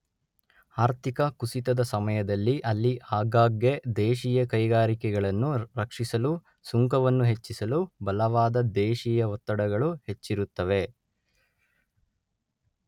ಆರ್ಥಿಕ ಕುಸಿತದ ಸಮಯದಲ್ಲಿ ಅಲ್ಲಿ ಆಗಾಗ್ಗೆ ದೇಶೀಯ ಕೈಗಾರಿಕೆಗಳನ್ನು ರಕ್ಷಿಸಲು ಸುಂಕವನ್ನು ಹೆಚ್ಚಿಸಲು ಬಲವಾದ ದೇಶೀಯ ಒತ್ತಡಗಳು ಹೆಚ್ಚಿರುತ್ತವೆ.